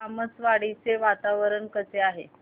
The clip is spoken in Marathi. तामसवाडी चे वातावरण कसे आहे